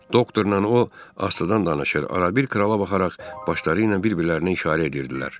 Doktorla o, astadan danışır, arabir krala baxaraq başları ilə bir-birlərinə işarə edirdilər.